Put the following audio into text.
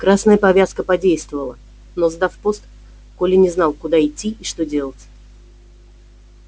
красная повязка подействовала но сдав пост коля не знал куда идти и что делать